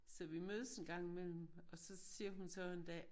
Så vi mødes en gang i mellem og så siger hun så en dag